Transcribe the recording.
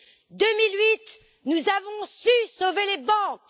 En 2008, nous avons su sauver les banques.